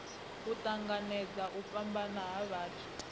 tanganedza u fhambana ha vhathu